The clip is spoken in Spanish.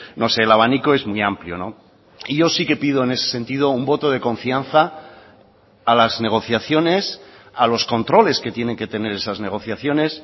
no sé el abanico es muy amplio y yo sí que pido en ese sentido un voto de confianza a las negociaciones a los controles que tienen que tener esas negociaciones